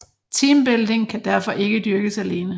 Teambuilding kan derfor ikke dyrkes alene